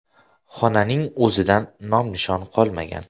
Xonaning o‘zidan nom-nishon qolmagan.